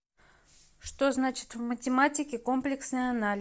что значит в математике комплексный анализ